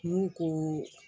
N k'u ko